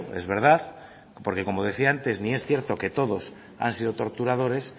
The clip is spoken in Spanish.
es verdad porque como decía antes ni es cierto que todos han sido torturadores